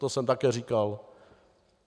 To jsem také říkal.